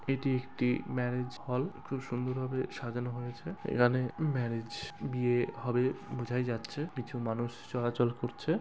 এটি একটি marriage hall. খুব সুন্দর ভাবে সাজানো হয়েছে। এখানে ম্যারেজ বিয়ে হবে বোঝাই যাচ্ছে কিছু মানুষ চলাচল করছে।